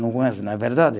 Não conhece, não é verdade?